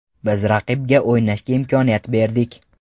Biz raqibga o‘ynashga imkoniyat berdik.